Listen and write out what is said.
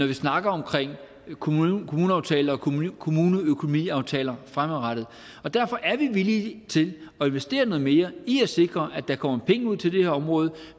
vi snakker om kommuneaftaler og kommuneøkonomiaftaler fremadrettet derfor er vi villige til at investere noget mere i at sikre at der kommer penge ud til det her område